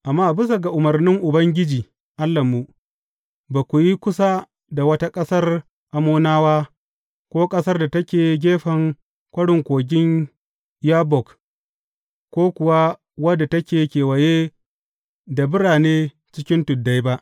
Amma bisa ga umarnin Ubangiji Allahnmu, ba ku yi kusa da wata ƙasar Ammonawa, ko ƙasar da take gefen kwarin kogin Yabbok, ko kuwa wadda take kewaye da birane cikin tuddai ba.